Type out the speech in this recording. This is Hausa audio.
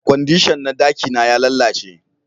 Kwandishan na daki na ya lalace